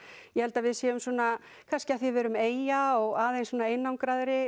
ég held við séum svona kannski af því við erum eyja og aðeins